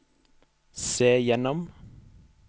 se gjennom